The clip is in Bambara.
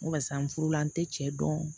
N basa n furula n tɛ cɛ dɔn